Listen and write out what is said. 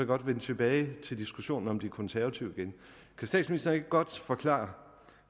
godt vende tilbage til diskussionen om de konservative kan statsministeren ikke godt forklare